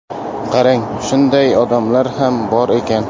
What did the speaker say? Qarang, shunday odamlar ham bor ekan.